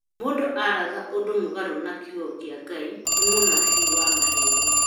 Mũndu waratha ũndũ mũgarũ na kiugo kĩa Ngai nĩ mũnabii wa maheni